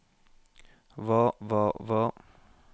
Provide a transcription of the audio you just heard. hva hva hva